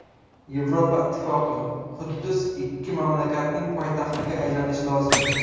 Yevropa Ittifoqi: Quddus ikki mamlakatning poytaxtiga aylanishi lozim.